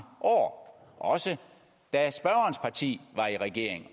år også da spørgerens parti var i regering